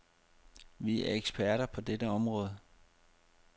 Vi er eksperter på dette område.